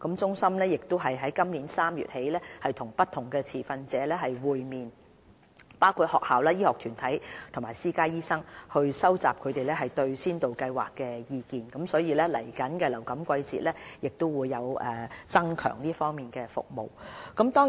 中心於今年3月起與不同持份者會面，包括學校、醫學團體及私家醫生等，收集他們對先導計劃的意見，以便在下一個流感季節增強有關服務。